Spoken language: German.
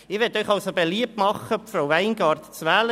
Ich möchte Ihnen beliebt machen, Frau Weingart zu wählen.